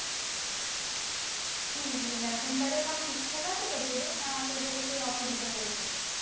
কি তোর ration card এ সব ঠিক ঠাক আছে তো তোদের না তোদেরও সেই অসুবিধা হয়েছে